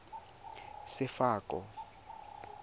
sefako